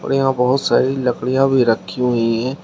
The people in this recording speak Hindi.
और यहाँ बहोत सारी लकड़ियां भी रखी हुई हैं।